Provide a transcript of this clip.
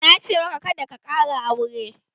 Na ce maka 'Kada ka ƙara sure'!